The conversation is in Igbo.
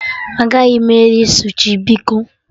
Agaghị m eri sushi biko